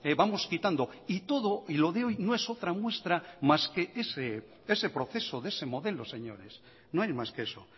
vamos quitando y todo y lo de hoy no es otra muestra más que ese proceso de ese modelo señores no hay más que eso